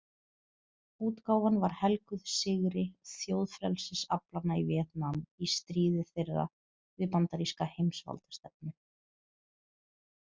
Útgáfan var helguð sigri þjóðfrelsisaflanna í Vietnam í stríði þeirra við bandaríska heimsvaldastefnu.